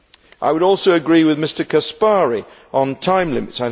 I would also agree with Mr Caspary on time limits.